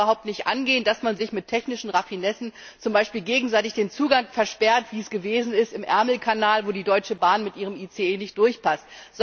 Es kann überhaupt nicht angehen, dass man sich mit technischen Raffinessen zum Beispiel gegenseitig den Zugang versperrt, wie es im Ärmelkanal gewesen ist, wo die Deutsche Bahn mit ihrem ICE nicht durchpasst.